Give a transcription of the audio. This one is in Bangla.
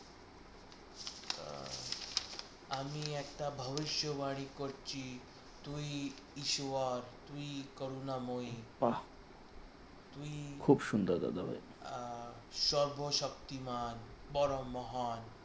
আমি একটা ভবিষ্যৎবাণী করছি, তুই ইসুয়ার তুই করুণাময়ী তুই আহ সর্বশক্তিমান বড় মহান